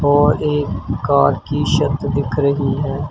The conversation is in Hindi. और एक कार की शत दिख रही है।